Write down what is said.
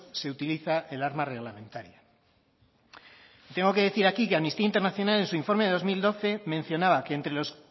se utiliza el arma reglamentaria tengo que decir aquí que amnistía internacional en su informe de dos mil doce mencionaba que entre los